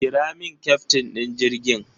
Kira min kyaftin ɗin jirgin!